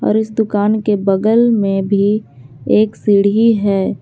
और इस दुकान के बगल में भी एक सीढ़ी है।